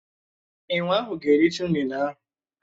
Enwé ahụ ga-ericha ụnene ahụ.